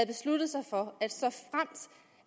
besluttet sig for